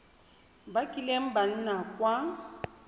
ba kileng ba nna kwa